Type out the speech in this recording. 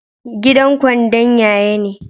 Gidan kwandon ya ye ne?